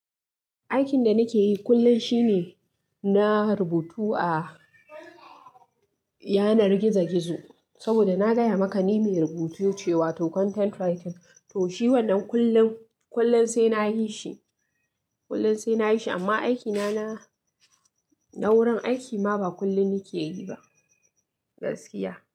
Aikin da nake yi kullum shine na rubutu a yanar gizo-gizo saboda na gaya maka ni mai rubutu ce wato content writing. To shi wannan kullum, kullum sai na yi shi, kullum sai na yi shi amma aikina na, na wurin aiki ma ba kullum nake yi ba gaskiya.